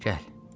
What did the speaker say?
Gəl.